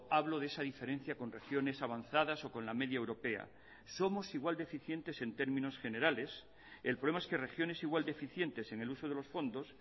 hablo de esa diferencia con regiones avanzadas o con la media europea somos igual de eficientes en términos generales el problema es que regiones igual de eficientes en el uso de los fondos